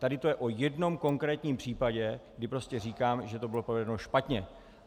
Tady to je o jednom konkrétním případě, kdy prostě říkám, že to bylo provedeno špatně.